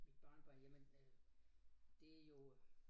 Mit barnebarn jamen øh det jo